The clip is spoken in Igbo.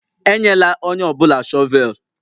Enyela onye ọ bụla shọvel!